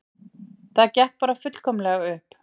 Það gekk bara fullkomlega upp